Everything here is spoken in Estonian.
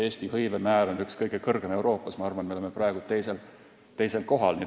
Eesti tööhõive määr on üks kõrgemaid Euroopas – ma arvan, et me oleme praegu teisel kohal.